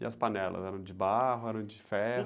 E as panelas, eram de barro, eram de ferro?